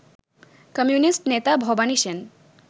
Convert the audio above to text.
communist নেতা ভবানী সেন